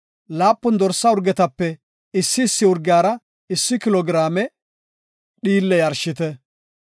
laapun dorsa urgetape issi issi urgiyara issi kilo giraame dhiille yarshite.